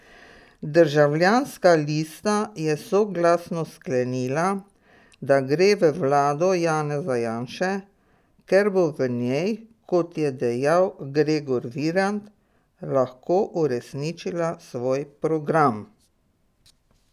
Državljanska lista je soglasno sklenila, da gre v vlado Janeza Janše, ker bo v njej, kot je dejal Gregor Virant, lahko uresničila svoj program.